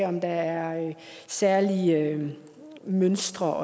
om der er særlige mønstre